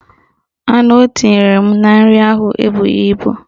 Anu o tinyere m na nri ahụ ebughi ibu